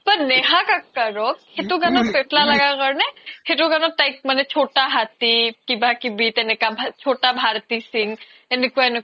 নেহা কাক্কাৰক সেইতো গানত পেত্লা লাগা কাৰনে সেইতো গানত তাইক চতা হাতি কিবা কিবি তেনেকা চতা ভাৰ্তি সিন্ঘ এনেকুৱা এনেকুৱা